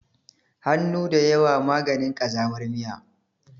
Hannu da yawa maganin ƙazamar miya.